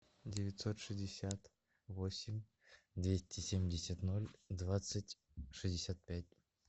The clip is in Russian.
девятьсот шестьдесят восемь двести семьдесят ноль двадцать шестьдесят пять